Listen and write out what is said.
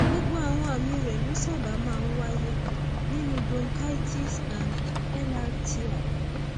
gbogbo àwọn àmì rẹ ló sábà máa ń wáyé nínú bronchitis and lrti